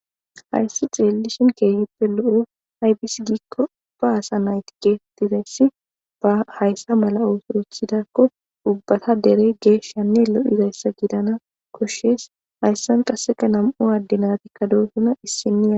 Haysi xelishin keehippe lo'o ketha gidishin haysa mala otho othidako ubbatas dere geshanne lo'o gidana koshes haysan qaseka nam'u adde natika dosona issiniya